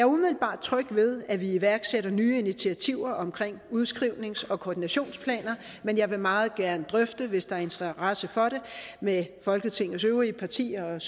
umiddelbart tryg ved at vi iværksætter nye initiativer omkring udskrivnings og koordinationsplaner men jeg vil meget gerne drøfte hvis der er interesse for det med folketingets øvrige partier og